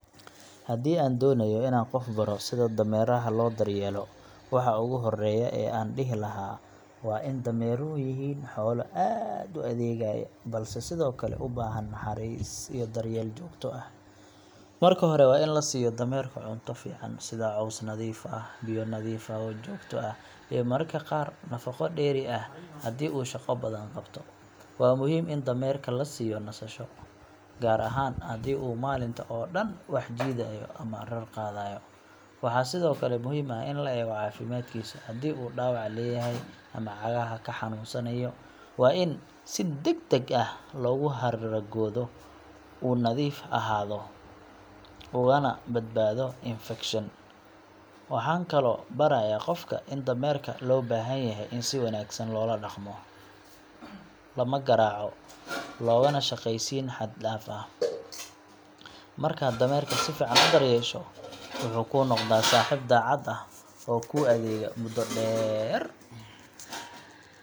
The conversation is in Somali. Haddii aan doonayo inaan qof baro sida dameeraha loo daryeelo, waxa ugu horreeya ee aan dhihi lahaa waa in dameeruhu yihiin xoolo aad u adeegeya, balse sidoo kale u baahan naxariis iyo daryeel joogto ah. Marka hore, waa in la siiyo dameerka cunto fiican sida caws nadiif ah, biyo nadiif ah oo joogto ah, iyo mararka qaar nafaqo dheeri ah haddii uu shaqo badan qabto. Waa muhiim in dameerka la siiyo nasasho, gaar ahaan haddii uu maalinta oo dhan wax jiidayo ama rar qaaday. Waxaa sidoo kale muhiim ah in la eego caafimaadkiisa haddii uu dhaawac leeyahay ama cagaha ka xanuunsanayo, waa in si degdeg ah loogu qaadaa dhaqtar xoolaad. Dameeraha waa in si joogto ah loo xoqaa, gaar ahaan dhanka dhabarka, si haragoodu u nadiif ahaado ugana badbaado infekshan. Waxaan kaloo barayaa qofka in dameerka loo baahan yahay in si wanaagsan loola dhaqmo looma garaaco, loogana shaqaysiin xad-dhaaf ah. Markaad dameerka si fiican u daryeesho, wuxuu kuu noqdaa saaxiib daacad ah oo kuu adeega muddo dheer.